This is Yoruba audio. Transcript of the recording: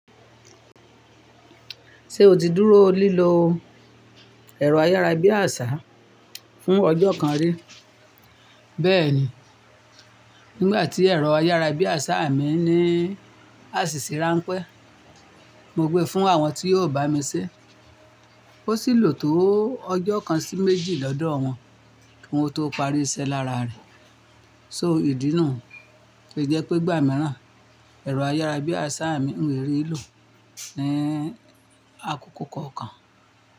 Ṣé o ti dúró lílo ẹ̀rọ ayárabíàṣá fún ọjọ́ kan rí? Bẹ́ẹ̀ni, nígbà tí ẹ̀rọ ayárabíàṣá mi ní ásìse ránpẹ́, mo gbé e fún àwọn tí yóò bá mi ṣe, ó sì lò tó ọjọ́ kan sí méjì lọ́dọ̀ wọn kí wọ́n tó parí iṣẹ́ lára rẹ̀. So ìdínun, toe jẹ́ pé gbà mírán ẹ̀rọ ayárabíàṣá mi ń e rí lò ní àkókò kọ̀ọ̀kan?